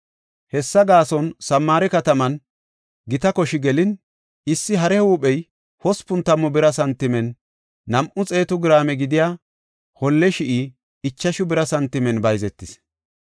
Hessa gaason Samaare kataman gita koshi gelin, issi hare huuphey hospun tammu bira santimen, nam7u xeetu giraame gidiya holle shi7i ichashu bira santimen bayzetis.